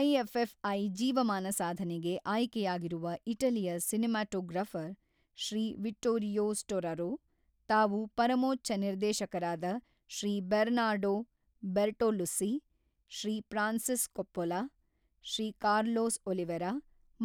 IFFI ಜೀವಮಾನ ಸಾಧನೆಗೆ ಆಯ್ಕೆಯಾಗಿರುವ ಇಟಲಿಯ ಸಿನೆಮಾಟೋಗ್ರಾಫರ್ ಶ್ರೀ ವಿಟ್ಟೋರಿಯೋ ಸ್ಟೊರರೊ, ತಾವು ಪರಮೋಚ್ಛ ನಿರ್ದೇಶಕರಾದ Shri Bernardo Bertolucci, Shri Francis Coppola, Shri Carlos Oliveira